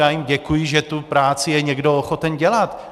Já jim děkuji, že tu práci je někdo ochoten dělat.